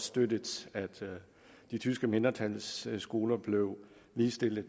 støttet at det tyske mindretals skoler blev ligestillet